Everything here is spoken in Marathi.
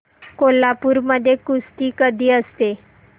कोल्हापूर मध्ये कुस्ती कधी असते